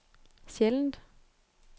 sjældent